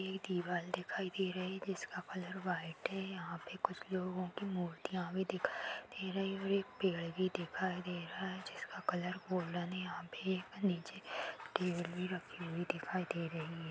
ये दीवाल दिखाई दे रही जिसका कलर व्हाइट है यहां पे कुछ लोगो की मूर्तियां भी दिखाई दे रही और एक पेड़ भी दिखाई दे रहा है जिसका कलर गोल्डन है यहां पे एक नीचे टेबल भी रखी हुई दिखाई दे रही है।